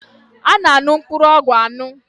A na-aṅụ mkpụrụ ọgwụ aṅụ